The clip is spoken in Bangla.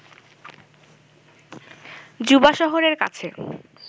জুবা শহরের কাছে